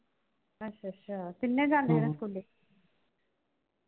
ਅੱਛਾ ਅੱਛਾ। ਤਿੰਨੇ ਜਾਂਦੇ ਆ ਸਕੂਲੇ